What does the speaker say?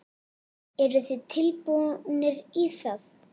Eru þið tilbúnir í það?